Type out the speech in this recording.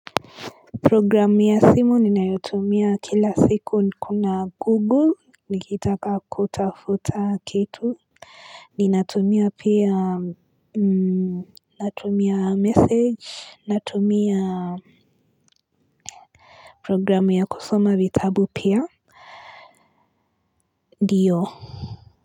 Programu ya simu ninayotumia kila siku kuna google nikitaka kutafuta kitu Ninatumia pia natumia message natumia Programu ya kusoma vitabu pia ndiyo.